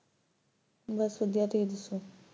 ਬਸ ਵਧੀਆ, ਤੁਸੀਂ ਦੱਸੋ